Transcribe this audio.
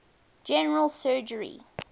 general surgery